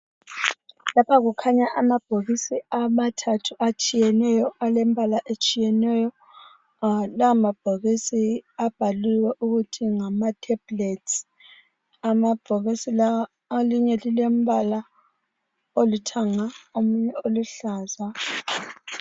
Lapha kukhanya amabhokisi amathathu atshiyeneyo alembala ehlukeneyo. Lamabhokisi abhaliwe ukuthi ngawamaphilisi. Amabhokisi la elinye lilombala olithanga elinye oluhlaza.